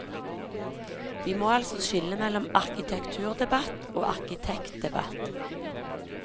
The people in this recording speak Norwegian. Vi må altså skille mellom arkitekturdebatt og arkitektdebatt.